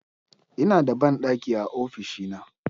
Ina da bandaki a ofishina.